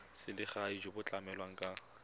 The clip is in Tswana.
selegae jo bo tlamelang ka